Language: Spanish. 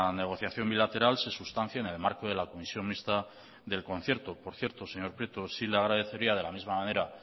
negociación bilateral se sustancie en el marco de la comisión mixta del concierto por cierto señor prieto sí le agradecería de la misma manera